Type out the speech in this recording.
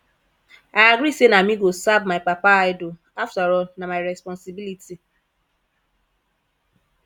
i agree say na me go serve my papa idol after all na my responsibility